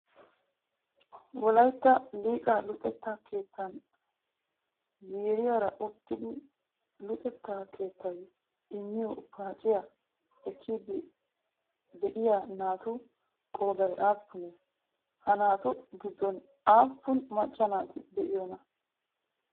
Wolayitta liqaa luxetta keettan ziiriyaara uttidi luxetta keettayi immiyoo paaciyaa ekkiiddi de'iyaa naatu qoodayi aappunee? Ha naatu qiddon aappun maacca naati de'iyoonaa?